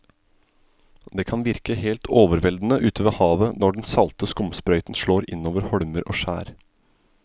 Det kan virke helt overveldende ute ved havet når den salte skumsprøyten slår innover holmer og skjær.